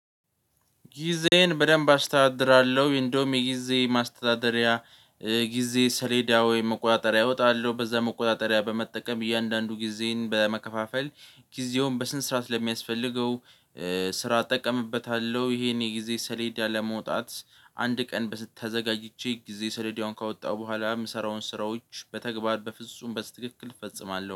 ጊዜዬን በደንብ አስተዳድራለሁ እንደውም የጊዜ ማስተዳደሪያ የጊዜ ሰሌዳ ወይም መቆጣጠሪያ አወጣለሁ በዛ መቆጣጠሪያ በመጠቀም እያንዳንዱ ጊዜን በመከፋፈል ጊዜውን በስነ ስርዓት ለሚያስፈልገው ስራ አጠቀምበታለሁ። ይሄን የጊዜ ሰሌዳ ለመውጣት አንድ ቀን ተዘጋጅቼ ጊዜ ሰሌዳውን ካወጣሁ በኋላ የምሰራውን ስራዎች በተግባር በፍጹም በትክክል እፈጽማለሁ